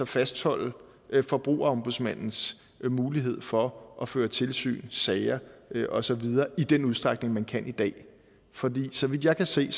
fastholde forbrugerombudsmandens mulighed for at føre tilsyn sager og så videre i den udstrækning man kan i dag for så vidt jeg kan se